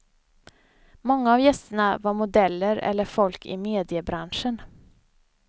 Många av gästerna var modeller eller folk i mediebranschen.